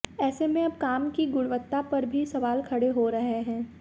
ऐसे में अब काम की गुणवत्ता पर भी सवाल खड़े हो रहे हैं